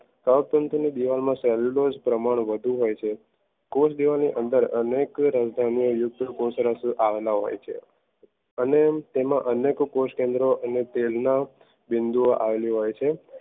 કવક તંતુઓ ની દીવાલમાં cellulose પ્રમાણ વધુ હોય છે કોસ દીવાલ અંદર અનેક રાજધાન્યો યુદ્ધ કોશરશ આવેલા હોય છે. અને તેમાં અનેક કોષ કેન્દ્રો અને તેમના બિંદુઓ આવેલી હોય છે